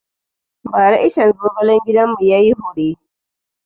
Ba ra iccen zogalen gidan mu yayi hure